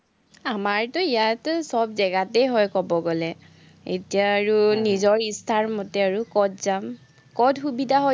আমাৰতো ইয়াতে চব জেগাতেই হয়, কব গলে, এতিয়া আৰু নিজৰ ইচ্ছামতে ক'ত যাম। ক'ত সুবিধা